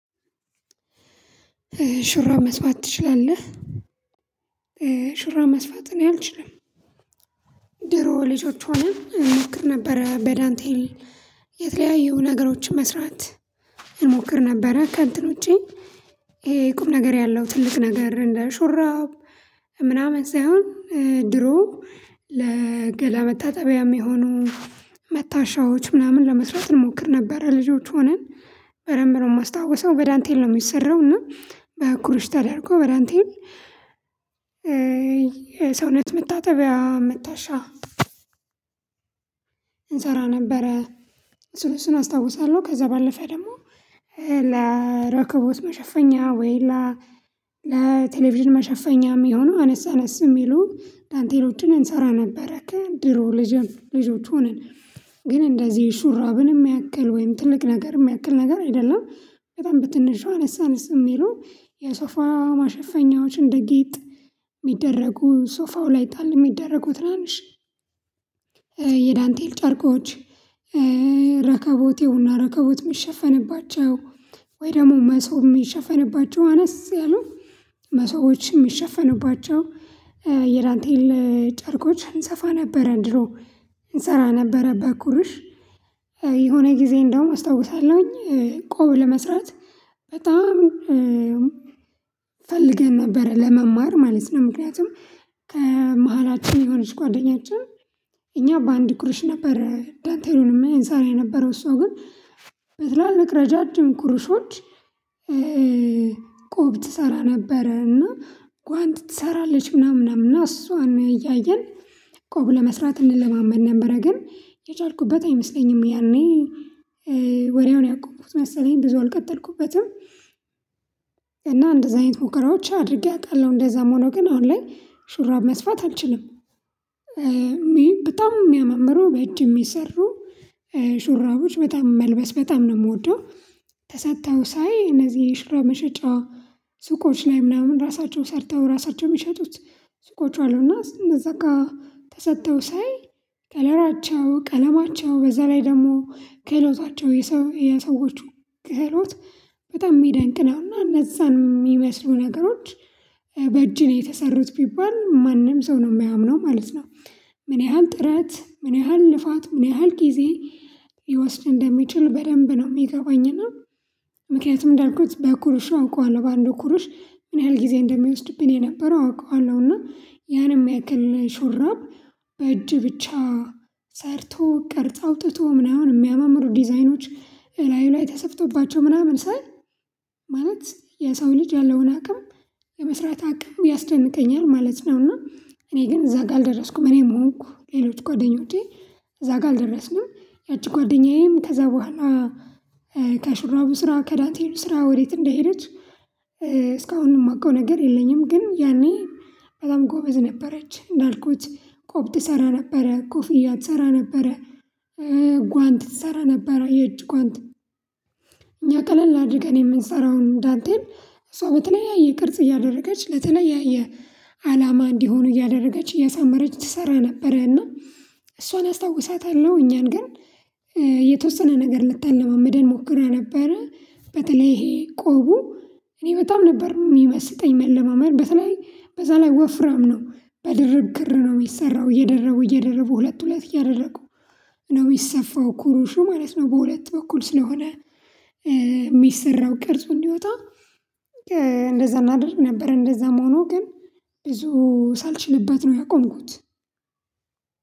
ሹራብ መስፋት ትችላለህ? ሹራብ መስፋት እኔ አልችልም። ድሮ ልጆች ሆነን እሞክር ነበረ በዳንቴል የተለያዩ ነገሮችን መስራት እንሞክር ነበረ ከንትን ውጪ። ይሄ ቁም ነገር ያለው ትልቅ ነገር እንደ ሹራብ ምናምን ሳይሆን። ድሮ ለገላ መታጠቢያ የሚሆኑ መታሻዎች ምናምን ለመስራት እንሞክር ነበር ልጆች ሆነን። በደንብ ነው የማስታውሰው በዳንቴል ነው የሚሰራው እና ኩርሽ ተደርጎ በዳንቴል የሰውነት መታጠቢያ መታሻ እንሰራ ነበረ። እሱን እሱን አስታውሳለሁ። ከዛ ባለፈ ደግሞ ለረከቦት መሸፈኛ ወይላ ለቴሌቪዥን መሸፈኛም የሚሆነው አነስ አነስ የሚሉ ዳንቴሎችን እንሰራ ነበረ። ከድሮ ልጅም ልጆች ሆንን ግን እንደዚህ ሹራብንም ያክል ወይም ትልቅ ነገርም ያክል ነገር አይደለም። በጣም ብትነሻው አነሳንስ የሚለው የሶፋ ማሸፈኛዎች እንደ ጌጥ የሚደረጉ ሶፋው ላይ ጣል የሚደረጉት ትራንሽ። የዳንቴል ጨርቆች ረከቦቴውና ረከቦት የሚሸፈንባቸው ወይ ደግሞ መሶብ የሚሸፈንባቸው አነስ ያሉ መሶብ የሚሸፈንባቸው የዳንቴን ጨርቆች እንሰፋ ነበረ። ድሮ እንሰራ ነበረ። በኩርሽ የሆነ ጊዜ እንደውም አስታውሳለሁኝ ቆብ ለመስራት በጣም ፈልገን ነበር ለመማር ማለት ነው። ምክንያቱም ከመሃላችን የሆነች ጓደኛችን እኛ በአንድ ቁርሽ ነበር ዳንቴሉን የምንሰራ የነበረው እሷ ግን በትላል መቅረጃ ኩርሾች። ቆብ ትሰራ ነበረና ጓንት ትሰራለች ምናምን እና እሷን እያየን ቆብ ለመስራት እንለማመድ ነበረ። ግን የቻልኩበት አይመስለኝም ያኔ ወሬውን ያቆምኩት መሰለኝ ብዙውን ቀጠልኩበትም። እንደዚህ አይነት ሙከራዎች አድርጌ አውቃለሁ እንደዛም ሆኖ ግን አሁን ላይ ሹራብ መስፋት አልችልም። በጣም የሚያመምረው በእጅ የሚሰሩ ሹራቦች በጣም መልበስ በጣም ነው የምወደው። ተሰጥተው ሳይ እነዚህ ሽሮ መሸጫ ሱቆች ላይ ምናምን ራሳቸውን ሰርተው ራሳቸውን የሚሸጡት። ሱቆች አሉና ስንበዛ ጋር ተሰርተው ሳይ ከለራቸው ቀለማቸው በዛ ላይ ደግሞ ክህሎታቸው የሰዎቹ ክህሎት በጣም የሚያደንቅ ነው። እና እነዛን የሚመስሉ ነገሮች በእጅ ነው የተሰሩት ቢባል ማንም ሰው ነው የማያምነው ማለት ነው። ምን ያህል ጥረት ምን ያህል ልፋት ምን ያህል ጊዜ ሊወስድ እንደሚችል በደንብ ነው የሚገባኝና። ምክንያቱም እንዳልኩት በኩርሽ አውቀዋለሁ ባንዱ ኩርሽ ምን ያህል ጊዜ እንደሚወስድብኝ የነበረው አውቀዋለሁና ያን የሚያክል ሹራብ በእጅ ብቻ ሰርቶ ቀርጽ አውጥቶ ምናምን የሚያማምሩ ዲዛይኖች ላይ ላይ ተሰፍቶባቸው ምናምን ስል። ማለት የሰው ልጅ ያለውን አቅም የመስራት አቅም ያስደንቀኛል ማለት ነው። እና እኔ ግን እዛ ጋር አልደረስኩም። እኔም ሆንኩ ሌሎች ጓደኞቼ እዛ ጋር አልደረስኩም። ያቺ ጓደኛዬም ከዛ በኋላ ስራ ከዳንቴሉ ስራ ወዴት እንደሄደች? እስካሁን የማውቀው ነገር የለኝም። ግን ያኔ በጣም ጎበዝ ነበረች እንዳልኩት ቆብ ትሰራ ነበረ ኮፍያ ትሰራ ነበረ። ጓንት ትሰራ ነበረ የእጅ ጓንት እኛ ቀለል አድርገን የምንሰራውን ዳንቴም እሷ በተለያየ ቅርጽ እያደረገች ለተለያየ አላማ እንዲሆኑ እያደረገች እያሳመረች ትሰራ ነበረ። እና እሷን አስታውሳታለሁ እኛን ግን የተወሰነ ነገር ልታለማምደን ሞክራ ነበረ። በተለይ ይሄ ቆቡ እኔ በጣም ነበር የሚመስጠኝ መለማመድ በተለይ በዛ ወፍራም ነው። በድርብ ክር ነው የሚሰራው እየደረቡ እየደረቡ ሁለት ሁለት ያደረጉ ነው የሚሰፋው ኩሩሹ ማለት ነው። በሁለት በኩል ስለሆነ የሚሰራው ቅርጹን እንዲወጣ እንደዛ እናድርግ ነበር። እንደዛ መሆኑ ግን ብዙ ሳልችልበት ነው ያቆምኩት።